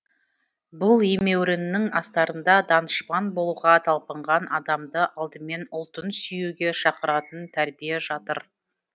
бұл емеуріннің астарында данышпан болуға талпынған адамды алдымен ұлтын сүйуге шақыратын тәрбие жатыр